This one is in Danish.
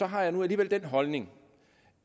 har jeg nu alligevel den holdning